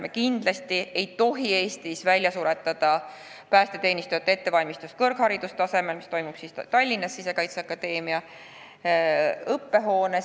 Me kindlasti ei tohi Eestis välja suretada päästeteenistujate ettevalmistust kõrgharidustasemel, mis toimub Tallinnas Sisekaitseakadeemia õppehoones.